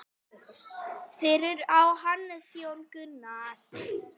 Fyrir á Hannes Jón Gunnar.